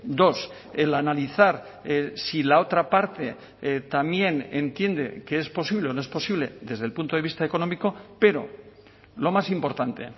dos el analizar si la otra parte también entiende que es posible o no es posible desde el punto de vista económico pero lo más importante